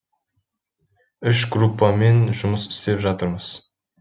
үш группамен жұмыс істеп жатырмыз